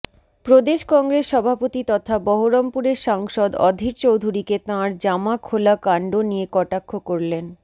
প্রদেশ কংগ্রেস সভাপতি তথা বহরমপুরের সাংসদ অধীর চৌধুরীকে তাঁর জামা খোলা কাণ্ড নিয়ে কটাক্ষ করলেন